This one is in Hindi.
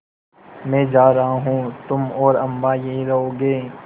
मैं जा रहा हूँ तुम और अम्मा यहीं रहोगे